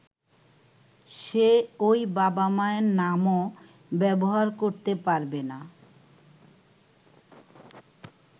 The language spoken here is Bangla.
সে ঐ বাবা-মায়ের নামও ব্যবহার করতে পারবেনা।